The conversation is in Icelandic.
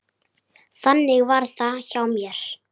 Þannig var það hjá mér.